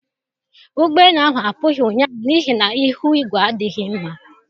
Ụgbọ elu ahụ apughi ụnyaahụ n'ihi na ihu igwe adịghị mma.